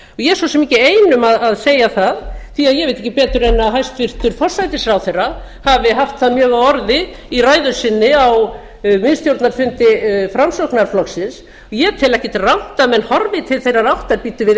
ég er svo sem ekki ein að segja það því ég veit ekki betur en að hæstvirtur forsætisráðherra hafi haft það mjög á orði í ræðu sinni á miðstjórnarfundi framsóknarflokksins ég tel ekkert rangt að menn horfi til þeirrar áttar bíddu við